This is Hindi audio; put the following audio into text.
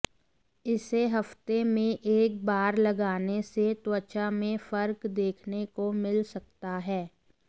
इसे हफ्ते में एक बार लगाने से त्वचा में फर्क देखने को मिल सकता है